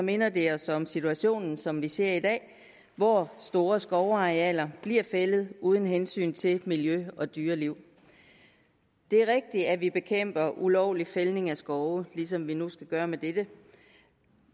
minder det os om situationen som vi ser i dag hvor store skovarealer bliver fældet uden hensyn til miljø og dyreliv det er rigtigt at vi bekæmper ulovlig fældning af skove ligesom vi nu skal gøre med dette